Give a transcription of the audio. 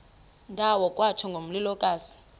ndawo kwatsho ngomlilokazi